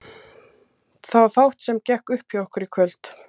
Það var fátt sem gekk upp hjá okkur í kvöld.